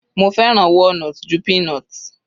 Mo fẹ́ràn walnut ju peanut.